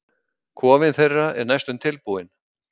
Kofinn þeirra er næstum tilbúinn.